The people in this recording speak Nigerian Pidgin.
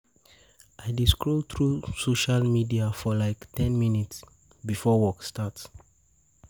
I dey scroll through social media for like ten minutes before work starts. work starts.